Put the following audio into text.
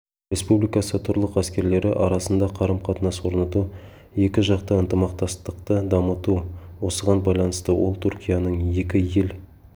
республикасы құрлық әскерлері арасында қарым-қатынас орнату екіжақты ынтымақтастықты дамыту осыған байланысты ол түркияның екі ел